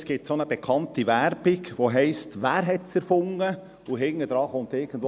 Es gibt eine bekannte Werbung, in der es heisst, «Wer hats erfunden?» und darauf folgt: